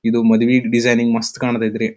ಇದು ಮಾದುವೆ ಡಿಸೈನಿಂಗ್ ಮಸ್ತ್ ಕಾಣತೈತ್ರಿ.